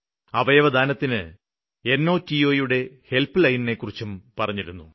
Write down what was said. അവയവദാനത്തിന് ചഛഠഛയുടെ ഹെല്പ്പ്ലൈനിനെക്കുറിച്ചും പറഞ്ഞിരുന്നു